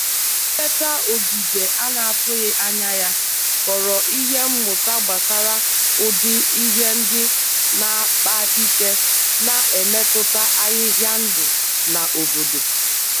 Nleta ogige a na-atụghị anya ya ghọrọ ihe mmụta gbasara ụdị ihe ndị na-akpa ike na-emetụta ahịhịa ndụ na-obodo.